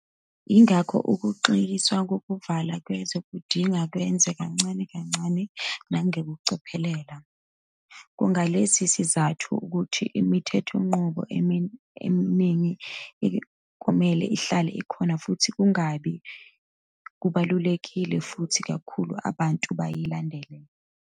Yingakho ukuxegiswa kokuvalwa kwezwe kudinga kwenziwe kancane kancane nangokucophelela. Kungalesi sizathu ukuthi imithethonqubo eminingi kumele ihlale ikhona futhi kungani kubalulekile kakhulu ukuthi abantu bayilandele.